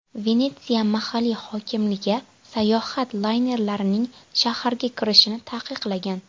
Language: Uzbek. Venetsiya mahalliy hokimligi sayohat laynerlarining shaharga kirishini taqiqlagan.